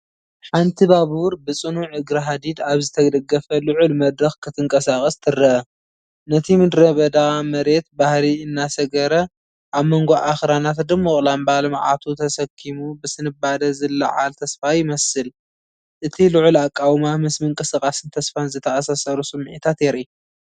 "ሓንቲ ባቡር ብጽኑዕ እግሪ ሃዲድ ኣብ ዝተደገፈ ልዑል መድረኽ ክትንቀሳቐስ ትረአ።" ነቲ ምድረበዳ መሬት ባህሪ እናሰገረ ኣብ መንጎ ኣኽራናት ድሙቕ ላምባ ልምዓቱ ተሰኪሙ ብስንባደ ዝለዓል ተስፋ ይመስል።"እቲ ልዑል ኣቃውማ ምስ ምንቅስቓስን ተስፋን ዝተኣሳሰሩ ስምዒታት የርኢ።